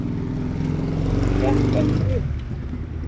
Hún gekk ekki upp.